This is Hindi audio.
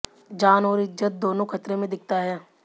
जान और इज्जत दोनों ख़तरे में दिखता है